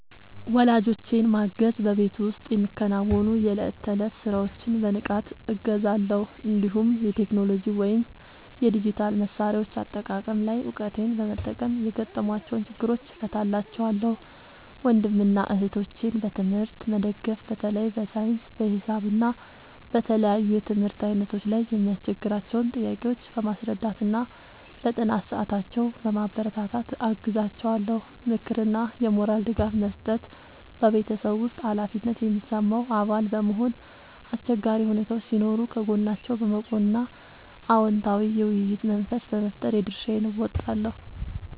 ወላጆቼን ማገዝ በቤት ውስጥ የሚከናወኑ የዕለት ተዕለት ሥራዎችን በንቃት እገዛለሁ፤ እንዲሁም የቴክኖሎጂ ወይም የዲጂታል መሣሪያዎች አጠቃቀም ላይ እውቀቴን በመጠቀም የገጠሟቸውን ችግሮች እፈታላቸዋለሁ። ወንድምና እህቶቼን በትምህርት መደገፍ በተለይ በሳይንስ፣ በሂሳብ እና በተለያዩ የትምህርት ዓይነቶች ላይ የሚያስቸግሯቸውን ጥያቄዎች በማስረዳትና በጥናት ሰዓታቸው በማበረታታት አግዛቸዋለሁ። ምክርና የሞራል ድጋፍ መስጠት በቤተሰብ ውስጥ ኃላፊነት የሚሰማው አባል በመሆን፣ አስቸጋሪ ሁኔታዎች ሲኖሩ ከጎናቸው በመቆም እና አዎንታዊ የውይይት መንፈስ በመፍጠር የድርሻዬን እወጣለሁ።